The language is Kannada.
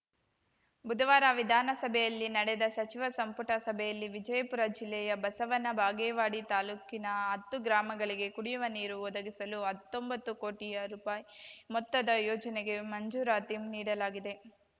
ಬುಧವಾರ ವಿಧಾನಸಭೆಯಲ್ಲಿ ನಡೆದ ಸಚಿವ ಸಂಪುಟ ಸಭೆಯಲ್ಲಿ ವಿಜಯಪುರ ಜಿಲ್ಲೆಯ ಬಸವನ ಬಾಗೇವಾಡಿ ತಾಲೂಕಿನ ಹತ್ತು ಗ್ರಾಮಗಳಿಗೆ ಕುಡಿಯುವ ನೀರು ಒದಗಿಸಲು ಹತ್ತೊಂಬತ್ತು ಕೋಟಿ ರೂಪಾಯಿ ಮೊತ್ತದ ಯೋಜನೆಗೆ ಮಂಜೂರಾತಿ ನೀಡಲಾಗಿದೆ